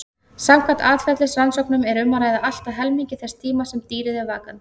Samkvæmt atferlisrannsóknum er um að ræða allt að helmingi þess tíma sem dýrið er vakandi.